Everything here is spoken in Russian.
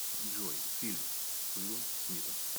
джой фильм с уилом смитом